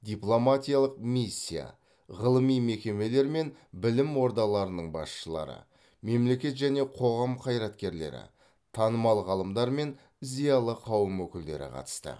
дипломатиялық миссия ғылыми мекемелер мен білім ордаларының басшылары мемлекет және қоғам қайраткерлері танымал ғалымдар мен зиялы қауым өкілдері қатысты